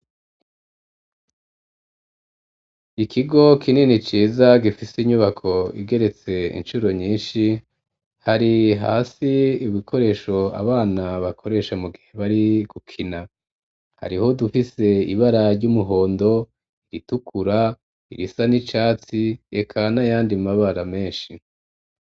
Ikigo kinini ciza gifise inyubako igeretse incuro nyishi hari hasi ibikoresho abana bakoresha mu gihe bari gukina hariho udufise ibara ry'umuhondo iritukura irisa n'icatsi eka n'ayandi mabara meshi.